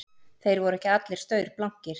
Þeir voru ekki allir staurblankir